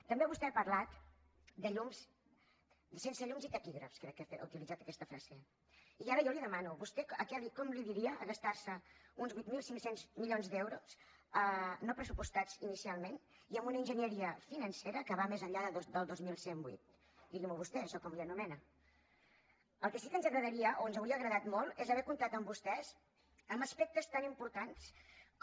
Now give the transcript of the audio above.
també vostè ha parlat de sense llums ni taquígrafs crec que ha utilitzat aquesta frase i ara jo li demano vostè com en diria de gastar se uns vuit mil cinc cents milions d’euros no pressupostats inicialment i amb una enginyeria financera que va més enllà del dos mil cent i vuit digui m’ho vostè d’això com n’anomena el que sí que ens agradaria o ens hauria agradat molt és haver comptat amb vostè en aspectes tan importants com